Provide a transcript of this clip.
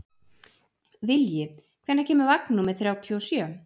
Vilji, hvenær kemur vagn númer þrjátíu og sjö?